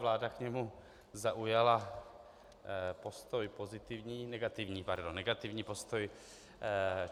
Vláda k němu zaujala postoj pozitivní - negativní, pardon, negativní postoj.